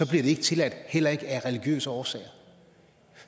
det ikke tilladt heller ikke af religiøse årsager